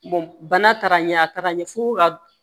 bana taara ɲɛ a ka ɲɛ f'o ka